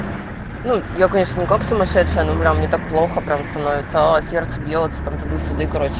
ну я конечно как сумасшедшая но мне так плохо прям остановится сердце бьётся там туда-сюда